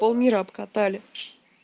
пол мира обкатали